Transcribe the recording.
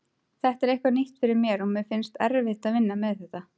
Þetta er eitthvað nýtt fyrir mér og mér finnst erfitt að vinna með þetta.